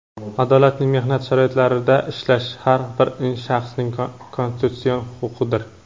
adolatli mehnat sharoitlarida ishlash – har bir shaxsning konstitutsion huquqidir.